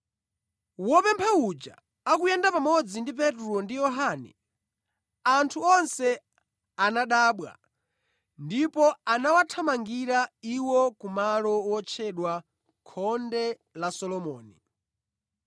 Wopempha uja akuyenda pamodzi ndi Petro ndi Yohane, anthu onse anadabwa ndipo anawathamangira iwo kumalo wotchedwa Khonde la Solomoni.